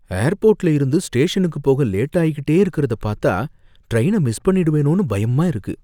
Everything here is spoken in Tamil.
ஏர்போர்ட்ல இருந்து ஸ்டேஷனுக்கு போக லேட்டாயிகிட்டே இருக்கறத பாத்தா, ட்ரைன மிஸ் பண்ணிடுவேனோனு பயமா இருக்கு.